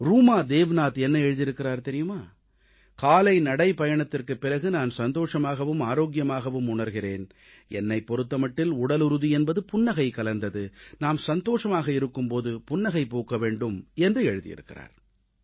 ரூமா தேவ்நாத் என்ன எழுதியிருக்கிறார் தெரியுமா காலை நடைப்பயணத்திற்குப் பிறகு நான் சந்தோஷமாகவும் ஆரோக்கியமாகவும் உணர்கிறேன் என்னைப் பொறுத்த மட்டில் உடலுறுதி என்பது புன்னகை கலந்தது நாம் சந்தோஷமாக இருக்கும் போது புன்னகை பூக்க வேண்டும் என்று எழுதியிருக்கிறார்